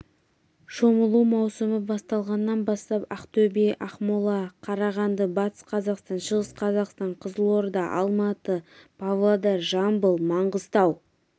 шомылу маусымы басталғаннан бастап ақтөбе ақмола қарағанды батыс қазақстан шығыс қазақстан қызылорда алматы павлодар жамбыл маңғыстау